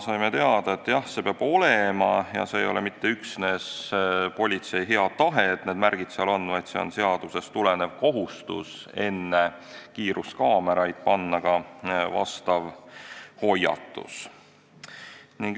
Saime teada, et jah, nii see peab olema ja see ei ole mitte üksnes politsei hea tahe, et need märgid seal on, vaid see on seadusest tulenev kohustus panna enne kiiruskaameraid vastav hoiatus.